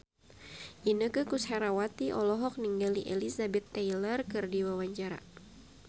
Inneke Koesherawati olohok ningali Elizabeth Taylor keur diwawancara